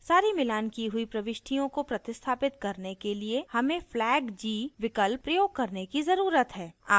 सारी मिलान की हुई प्रविष्टियों को प्रतिस्थापित करने के लिए हमें flag g विकल्प प्रयोग करने की ज़रुरत है